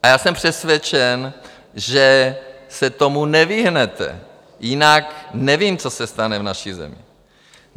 A já jsem přesvědčen, že se tomu nevyhnete, jinak nevím, co se stane v naší zemi.